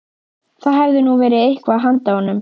Það hefði nú verið eitthvað handa honum